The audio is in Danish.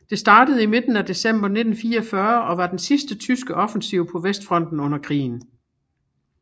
Det startede i midten af december 1944 og var den sidste tyske offensiv på vestfronten under krigen